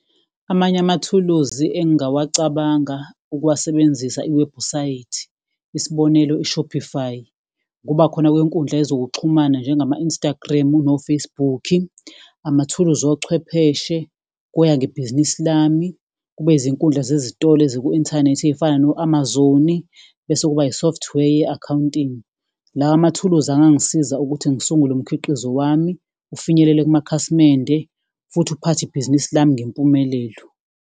Amanye amathuluzi engingawacabanga ukuwasebenzisa iwebhusayithi, isibonelo, u-Shopify, ngoba khona kwenkundla yezokuxhumana njengama-Instagram no-Facebook, amathuluzi ochwepheshe, kuya ngebhizinisi lami, kube izinkundla zezitolo eziku-inthanethi ey'fana no-Amazon-i, bese kuba ne-software ye-accounting. La mathuluzi angangisiza ukuthi ngisungule umkhiqizo wami ufinyelele kumakhasimende, futhi uphathe ibhizinisi lami ngempumelelo.